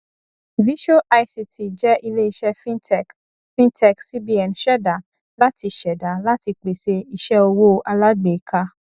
visual ict jẹ iléiṣẹ fintech fintech cbn ṣẹda láti ṣẹda láti pèsè iṣẹ owó alágbèéká